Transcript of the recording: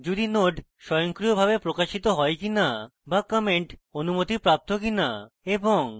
যদি node স্বয়ংক্রিয়ভাবে প্রকাশিত হয় কিনা বা comments অনুমতিপ্রাপ্ত কিনা এবং